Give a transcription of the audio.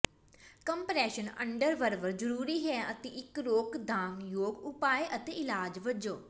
compression underwear ਜ਼ਰੂਰੀ ਹੈ ਅਤੇ ਇੱਕ ਰੋਕਥਾਮਯੋਗ ਉਪਾਅ ਅਤੇ ਇਲਾਜ ਵਜੋਂ